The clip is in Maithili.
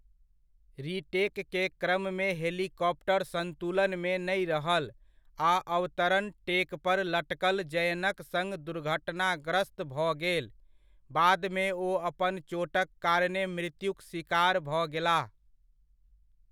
रीटेकके क्रममे हेलीकॉप्टर सन्तुलनमे नहि रहल आ अवतरण टेक पर लटकल जयनक सङ्ग दुर्घटनाग्रस्त भऽ गेल, बादमे ओ अपन चोटक कारणेँ मृत्युक सिकार भऽ गेलाह।